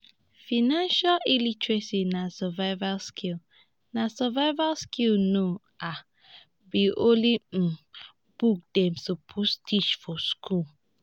financial literacy na survival skill na survival skill no um be only um book dem suppose teach for school.